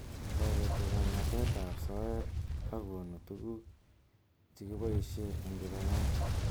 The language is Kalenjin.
Toreti kanetet ab soet ak konu tuguk chekiboisheieng kipagenge.